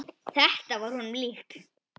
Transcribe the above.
Þetta var honum líkt.